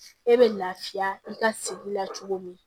E bɛ lafiya i ka sigi la cogo min